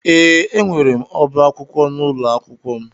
Ee, enwere m ọbá akwụkwọ n'ụlọ akwụkwọ m.